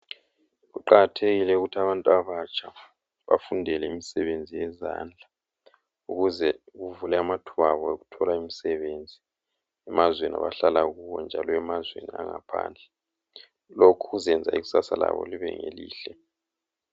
Kuqakathekile ukuthi abantu abatsha bafundele imisebenzi yezandla ukuze kuvule amathuba abo okuthola imisebenzi emazweni abahlala kuwo njalo lemazweni angaphandle. Lokhu kuzenza ikusasa labo libe ngelihle.